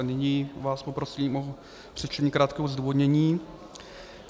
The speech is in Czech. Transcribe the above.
A nyní vás poprosím o přečtení krátkého zdůvodnění.